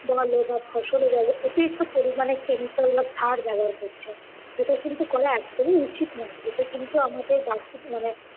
বোলো বা ফসলে বোলো অতিরিক্ত পরিমাণে chemical বা সার ব্যাবহার করছে। যেটা কিন্তু করা একদমই উচিৎ না। এতে কিন্তু আমাদের বাস্তু~ মানে